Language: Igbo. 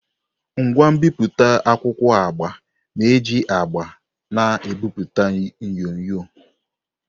Ngwa mbipụta akwụkwọ agba na-eji agba na-ebipụta onyonyo.